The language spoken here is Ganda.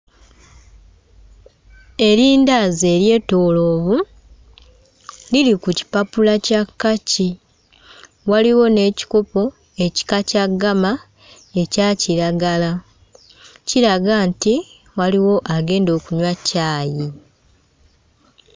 Erindaazi eryetooloovu liri ku kipapula kya kkaki, waliwo n'ekikopo ekika kya ggama ekya kiragala. Kiraga nti waliwo agenda okunywa caayi.